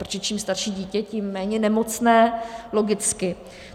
Protože čím starší dítě, tím méně nemocné, logicky.